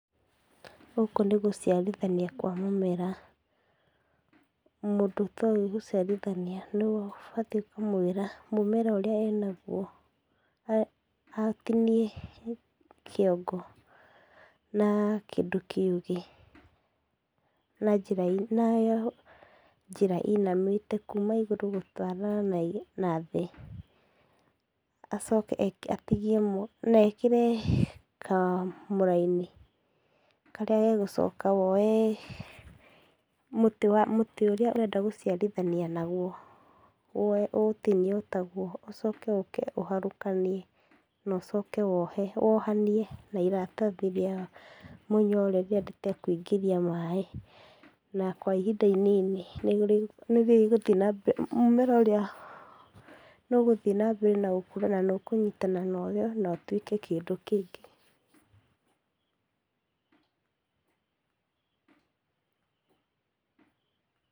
Gũkũ nĩgũciarithania kwa mũmera. Mũndũ atoĩ gũcirithania nĩũbatiĩ kũmwĩra mũmera ũrĩa enagwo. Atinie kĩongo na kĩndũ kĩũgĩ na njĩra ĩinamĩte, kuuma igũrũ gũtwara na thĩ acoke atigie na ekĩre kamũraini karia gagũcoke woe mũtĩ ũrĩa ũrenda gũciarithania nagwo woe ũũtinie o tagwo ũcoke ũke ũharũkanie na ũcoke wohe , wohanie na iratathi rĩa mũnyore rĩrĩa rĩtakũingĩria maĩ. Na kwa ihinda inini nĩrĩgũthiĩ nambere mũmera ũrĩa nĩũgũthiĩ nambere na gũkũra. Nanĩ ũkũnyitana na ũrĩa na ũtuĩke kindũ kĩu.